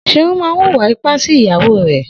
Seun mà n wúwà ìpá si ìyàwó rẹ